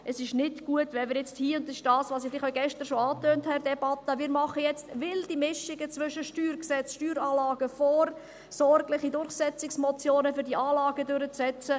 Es ist nicht gut, wenn wir jetzt hier – und das ist das, was ich vielleicht gestern in der Debatte schon etwas angetönt habe – wilde Mischungen machen zwischen StG, Steueranlagen und vorsorglichen Durchsetzungsmotionen, um diese Anlagen durchzusetzen.